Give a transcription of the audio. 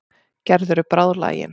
Gerður er bráðlagin.